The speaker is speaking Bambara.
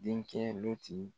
Denkɛ